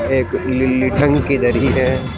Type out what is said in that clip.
एक नीली टंकी धरी है।